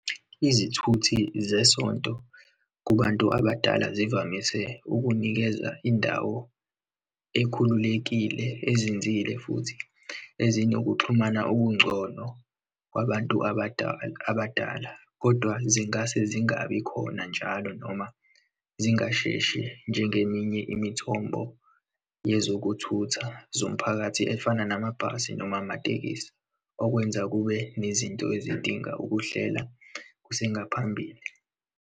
Izithuthi zesonto kubantu abadala zivamise ukunikeza indawo ekhululekile, ezinzile futhi ezinokuxhumana okungcono kwabantu abadala, abadala. Kodwa zingase zingabikhona njalo noma zingasheshe, njengeminye imithombo yezokuthutha zomphakathi, efana namabhasi noma amatekisi, okwenza kube nezinto ezidinga ukuhlela kusengaphambili.